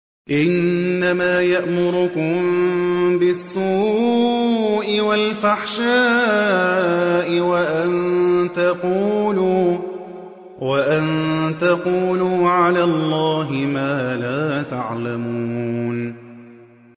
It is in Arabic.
إِنَّمَا يَأْمُرُكُم بِالسُّوءِ وَالْفَحْشَاءِ وَأَن تَقُولُوا عَلَى اللَّهِ مَا لَا تَعْلَمُونَ